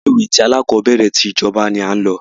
Ilé ìwé alákọ̀berẹ̀ tí ìjọba ní a lọ.